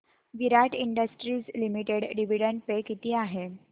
विराट industries limited dividend pay किती आहे